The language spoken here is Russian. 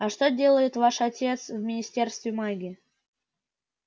а что делает ваш отец в министерстве магии